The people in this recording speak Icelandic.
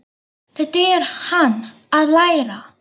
Þetta er hann að læra!